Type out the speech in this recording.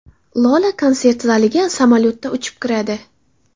Lola konsert zaliga samolyotda uchib kiradi.